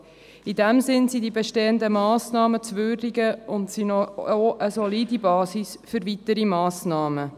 In diesem Sinne sind die bestehenden Massnahmen zu würdigen, und sie sind auch eine solide Basis für weitere Massnahmen.